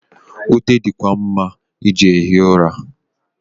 Ute di kwa mma iji ehi ụra.